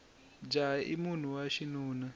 jaha i munhu wa xinuna